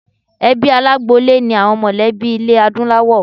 Ẹbí alágboolé ni àwọn mọlẹ̀bí ilé Adúláwọ̀.